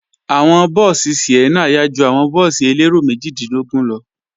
Àwọn búùsì Sienna yá ju àwọn búùsì elérò méjìdínlógún lọ